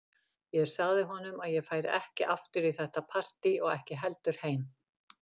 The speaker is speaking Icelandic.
Ég sagði honum að ég færi ekki aftur í þetta partí og ekki heldur heim.